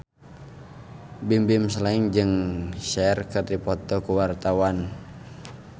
Bimbim Slank jeung Cher keur dipoto ku wartawan